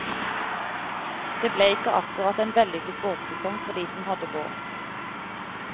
Det ble ikke akkurat en vellykket båtsesong for de som hadde båt.